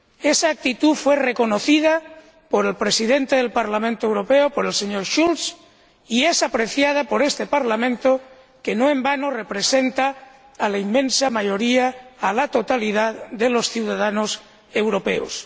Esa actitud fue reconocida por el Presidente del Parlamento Europeo, el señor Schulz, y es apreciada por este Parlamento, que no en vano representa a la inmensa mayoría, a la totalidad de los ciudadanos europeos